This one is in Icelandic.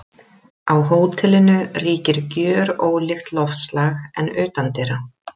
Á hótelinu ríkir gjörólíkt loftslag en utandyra.